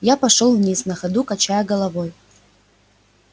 я пошёл вниз на ходу качая головой